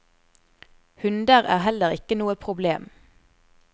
Hunder er heller ikke noe problem.